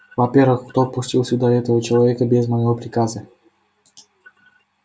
во-первых кто пустил сюда этого человека без моего приказа